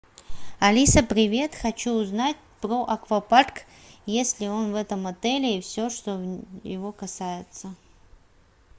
алиса привет хочу узнать про аквапарк есть ли он в этом отеле и все что его касается